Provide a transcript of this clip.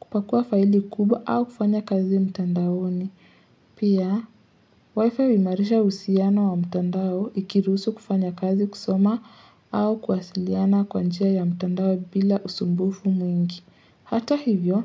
kukakua faili kubwa au kufanya kazi mtandaoni. Pia wi-fi huimarisha uhusiano wa mtandao ikirusu kufanya kazi kusoma au kuwasiliana kwa njia ya mtandao bila usumbufu mwingi. Hata hivyo,